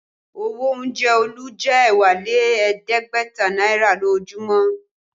Owó oúnjẹ Olu jẹ ẹ̀wá lé ẹ̀ẹ́dẹ́gbẹ̀ta náírà lójúmọ́